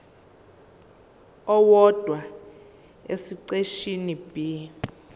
owodwa esiqeshini b